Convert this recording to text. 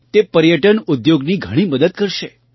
તે પર્યટન ઉદ્યોગની ઘણી મદદ કરશે